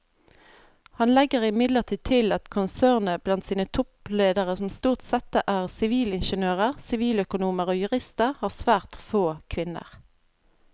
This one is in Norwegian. Han legger imidlertid til at konsernet blant sine toppledere som stort sette er sivilingeniører, siviløkonomer og jurister har svært få kvinner.